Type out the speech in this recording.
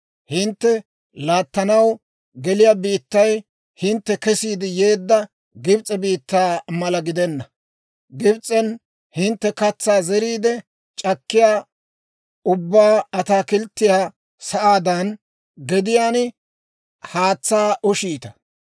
Hintte laattanaw geliyaa biittay hintte kesiide yeedda Gibs'e biittaa mala gidenna; Gibs'en hintte katsaa zeriide, shoyk'aa ubbaa ataakilttiyaa sa'aadan gediyaan haatsaa ushshiita.